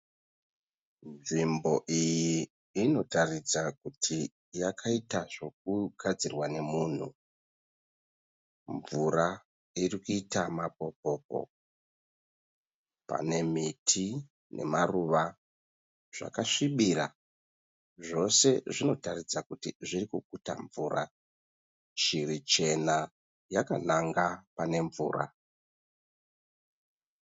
Nzvimbo iyi inotaridza kuti yakaita zvekugadzirwa nemunhu. Mvura iri kuita mapopo. Pane miti nemaruva zvakasvibira zvose zvinotaridza kuti zvirikuguta mvura. Shiri chena yakananga pane mvura.